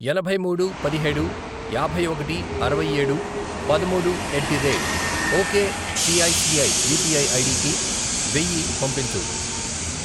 ఎనభై మూడు, పదిహేడు, యాభై ఒకటి, అరవై ఏడు, పదమూడు, at the rate ok ICICI UPI ID కి వెయ్యి పంపించు.